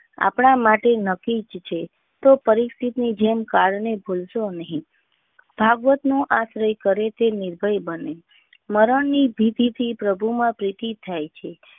આપણા માટે નક્કી છે તો પરિસ્થિતિ જૈન કારણે ભૂલ શો નહીં. ભાગવત નો આશ્રય કરેં તે નિર્ભય બને. મરણ ની ભીતી થી પ્રભુ માં પ્રીતિ થાય છે.